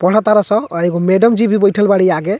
पढ़तार सन अ एगो मैडम जी भी बइठल बाड़ी आगे।